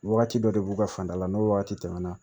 Wagati dɔ de b'u ka fanda la n'o wagati tɛmɛna